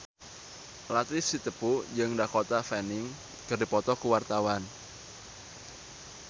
Latief Sitepu jeung Dakota Fanning keur dipoto ku wartawan